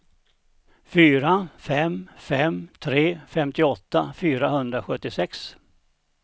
fyra fem fem tre femtioåtta fyrahundrasjuttiosex